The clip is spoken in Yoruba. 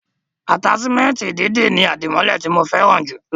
Ataṣimẹnti dídì ni adimọlẹ ti mo fẹràn jù lọ.